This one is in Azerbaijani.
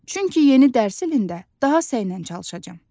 Çünki yeni dərs ilində daha səylə çalışacam.